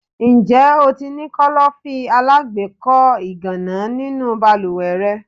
Ǹjẹ́ o ti ní Kọ́lọ́fín alágbèékọ́ ìgànná nínú balúwẹ́ rẹ?